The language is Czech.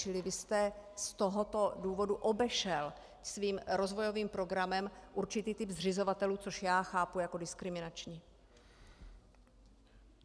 Čili vy jste z tohoto důvodu obešel svým rozvojovým programem určitý typ zřizovatelů, což já chápu jako diskriminační.